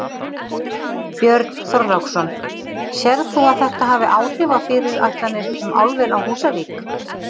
Björn Þorláksson: Sérð þú að þetta hafi áhrif á fyrirætlanir um álver á Húsavík?